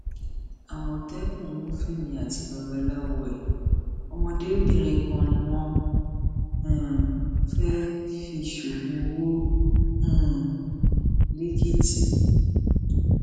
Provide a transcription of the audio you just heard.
àmọtẹkùn mú fẹmi àti babaláwo ẹ ọmọdébìnrin kan ni wọn um fẹẹ fi sógun owó um lẹkìtì